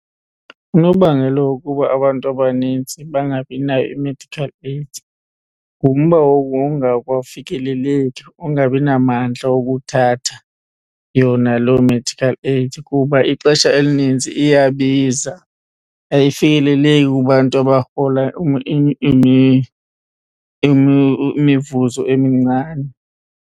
Unobangela wokuba abantu abanintsi bangabi nayo i-medical aid ngumba wawungakwafikeleleki, ungabi namandla wokuthatha yona loo medical aid kuba ixesha elininzi iyabiza. Ayifikeleleki kubantu abarhola imivuzo emincane.